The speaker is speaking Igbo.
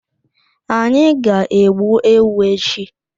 Anyị ga-egbu ewu echi.